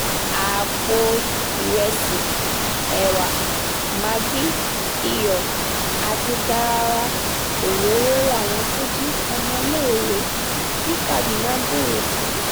àpò ìrẹsì ẹwà mẹ́gì iyọ̀ àti garawa òróró làwọn tó jí ọmọléèwé ní kaduna ń béèrè fún